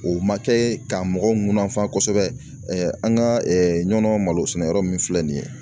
O ma kɛ ka mɔgɔw munafan kosɛbɛ an ka Ɲɔnɔ malosɛnɛyɔrɔ min filɛ nin ye